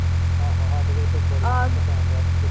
ਆਹੋ ਆਹੋ ਸਾਡੇ ਤੇ ਏਥੇ ਬੜੀ ਠੰਡ ਪੈਣ ਡਹਿ ਪਈ ਜਿਦਣ